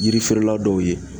Yirifeerela dɔw ye